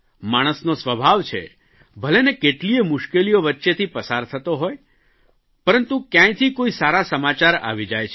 માણસનો સ્વભાવ છે ભલેને કેટલીયે મુશ્કેલીઓ વચ્ચેથી પસાર થતો હોય પરંતુ કયાંયથી કોઇ સારા સમાચાર આવી જાય છે